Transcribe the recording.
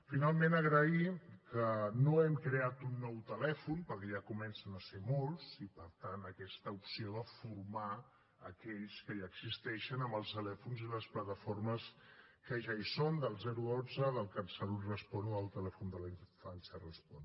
finalment agrair que no hem creat un nou telèfon perquè ja comencen a ser ne molts i per tant aquesta opció de formar aquells que ja existeixen en els telèfons i les plataformes que ja hi són del dotze del catsalut respon o del telèfon d’infància respon